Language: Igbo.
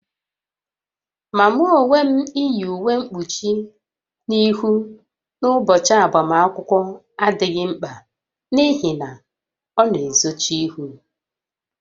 Ma mụ onwe m, iyi uwe mkpuchi ihụ n'ụbọchị agbamakwụkwọ adịghị mkpa n'ihi na ọ na-ezochi ihu